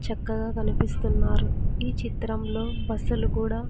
చక్కగా కనిపిస్తున్నారు ఈ చిత్రంలో బస్సు లు కూడా.